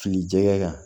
Fili jɛgɛ kan